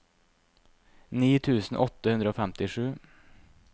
ni tusen åtte hundre og femtisju